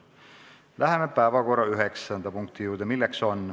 Läheme päevakorra üheksanda punkti juurde.